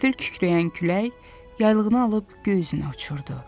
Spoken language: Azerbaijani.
Qəfil kükrəyən külək yaylığını alıb göy üzünə uçurdu.